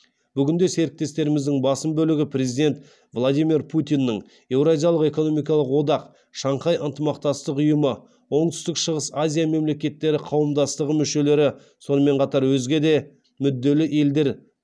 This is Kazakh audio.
бүгінде серіктестеріміздің басым бөлігі президент владимир путиннің еуразиялық экономикалық одақ шанхай ынтымақтастық ұйымы оңтүстік шығыс азия мемлекеттері қауымдастығы мүшелері сонымен қатар өзге де мүдделі елдер